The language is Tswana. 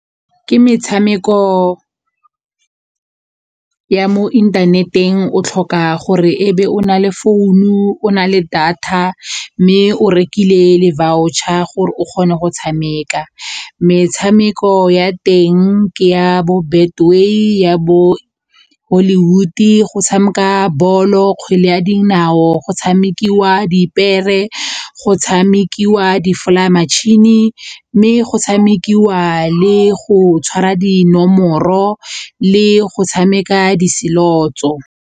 Ke metshameko ya mo internet-eng o tlhoka gore e be o na le founu o na le data mme o rekile le voucher gore o kgone go tshameka. Metshameko ya teng ke ya bo Betway ya hollywood-e go tshameka bolo, kgwele ya dinao, go tshamekiwa dipepere, go tshamekiwa di-fly metšhini mme go tshamekiwa le go tshwara dinomoro le go tshameka di-slots-o.